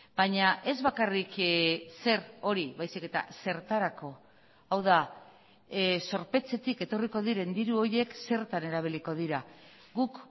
baina ez bakarrik zer hori baizik eta zertarako hau da zorpetzetik etorriko diren diru horiek zertan erabiliko dira guk